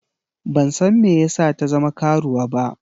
Ban san me yasa ta zama karuwa ba.